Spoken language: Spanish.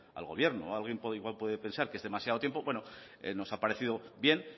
al gobierno alguien puede pensar que es demasiado tiempo bueno nos ha parecido bien